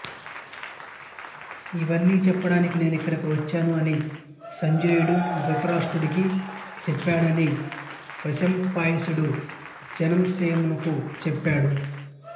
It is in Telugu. ఇవన్నీ చెప్పడానికి నేను ఇక్కడకు వచ్చాను అని సంజయుడు ధృతరాష్ట్రుడికి చెప్పాడని వైశంపాయనుడు జనమేజయునకు చెప్పాడు